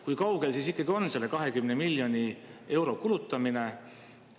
Kui kaugel siis ikkagi on selle 20 miljoni euro kulutamine?